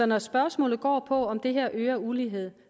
når spørgsmålet går på om det her øger uligheden